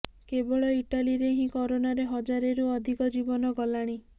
କେବଳ ଇଟାଲୀରେ ହିଁ କରୋନାରେ ହଜାରେରୁ ଅଧିକ ଜୀବନ ଗଲାଣି